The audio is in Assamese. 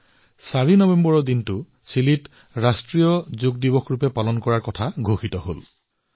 তাত ৪ নৱেম্বৰ তাৰিখে ৰাষ্ট্ৰীয় যোগ দিৱস ঘোষণা কৰা হৈছে